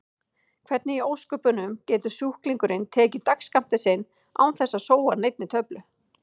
Hvernig í ósköpunum getur sjúklingurinn tekið dagsskammtinn sinn án þess að sóa neinni töflu?